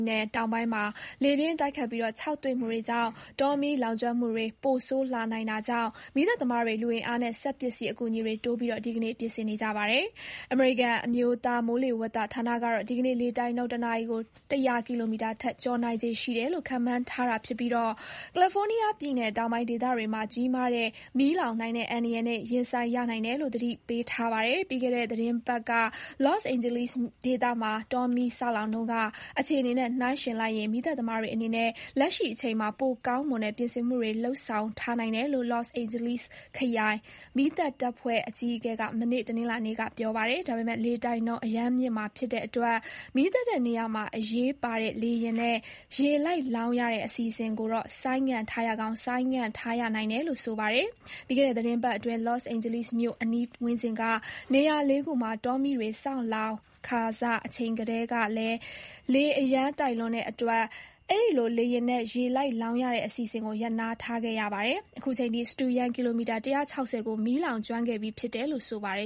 နယ်တောင်ပိုင်းမှာ လေပြင်းတိုက်ခတ်ပြီး ခြောက်သွေ့မှုတွေကြောင့် တောမီးလောင်ကျွမ်းမှုတွေ ပိုဆိုးလာနိုင်တာကြောင့် မီးသတ်သမားတွေ လူအင်အားနဲ့ စက်ပစ္စည်းအကူအညီတွေတိုးပြီး ဒီကနေ့ ပြင်ဆင်နေကြပါတယ်။ အမေရိကန် အမျိုးသားမိုးလေဝသဌာနကတော့ ဒီကနေ့ လေတိုက်နှုန်း တနာရီကို ၁၀၀ ကီလိုမီတာ ထက် ကျော်နိုင်ခြေရှိတယ်လို့ ခန့်မှန်းထားပြီး ကယ်လီဖိုးနီးယားပြည်နယ်တောင်ပိုင်းဒေသတွေမှာ ကြီးမားတဲ့မီးလောင်နိုင်တဲ့အန္တရာယ်နဲ့ ရင်ဆိုင်ရနိုင်တယ်လို့ သတိပေးထားပါတယ်။ ပြီးခဲ့တဲ့သီတင်းပတ်က Los Angeles ဒေသမှာ တောမီးစလောင်တုန်းက အခြေအနေနဲ့ နှိုင်းယှဉ်ရင် မီးသတ်သမားတွေအနေနဲ့ လက်ရှိအချိန်မှာ ပိုကောင်းမွန်တဲ့ ပြင်ဆင်မှုတွေ လုပ်ဆောင်ထားနိုင်တယ်လို့ Los Angeles ခရိုင် မီးသတ်တပ်ဖွဲ့အကြီးအကဲ Anthony Marrone က မနေ့ တနင်္လာနေ့က ပြောပါတယ်။ ဒါပေမယ့် လေတိုက်နှုန်း အရမ်းမြင့်မှာဖြစ်တဲ့အတွက် မီးသတ်တဲ့နေရာမှာ အရေးပါတဲ့ လေယာဉ်နဲ့ ရေလိုက်လောင်းရတဲ့အစီအစဉ်ကိုတော့ ဆိုင်းငံ့ထားရကောင်း ဆိုင်းငံ့ထားရနိုင်တယ်လို့ ဆိုပါတယ်။ ပြီးခဲ့တဲ့ သီတင်းပတ်အတွင်း Los Angeles မြို့အနီးဝန်းကျင်က နေရာလေးခုမှာ တောမီးတွေ စလောင်ခါစအချိန်တုန်းကလည်း လေအရမ်းတိုက်လွန်းတဲ့အတွက် အဲဒီလို လေယာဉ်နဲ့ ရေလိုက်လောင်းရတဲ့ အစီအစဉ်ကို ရပ်နားထားခဲ့ရပါတယ်။ အခုချိန်ထိ စတုရန်း ကီလိုမီတာ ၁၆၀ ကို မီးလောင်ကျွမ်းခဲ့ပြီးဖြစ်တယ်လို့ ဆိုပါတယ